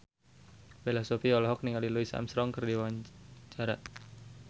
Bella Shofie olohok ningali Louis Armstrong keur diwawancara